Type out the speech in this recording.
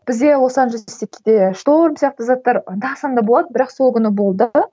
бізде лос анжелесте кейде шторм сияқты заттар анда санда болады бірақ сол күні болды